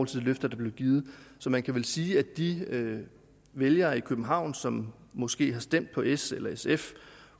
til det løfte der blev givet så man kan vel sige at de vælgere i københavn som måske har stemt på s eller sf